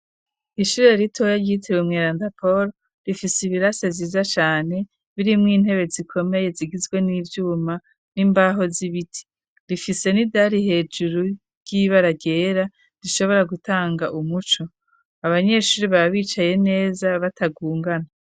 Ishure ritoya ryitiriwe umweranda Poro rifise ibirasi vyiza cane birimwo intebe zikomeye zigizwe n'ivyuma n'imbaho z'ibiti, rifise n'idari hejuru ry'ibara ryera rishobora gutanga umuco, abanyeshuri baba bicaye neza batagungana.